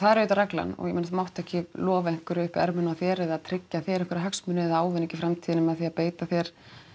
er auðvitað reglan og ég meina þú mátt ekki lofa einhverju upp í ermina á þér eða tryggja þér einhverja hagsmuni eða ávinning í framtíðinni með því að beita þér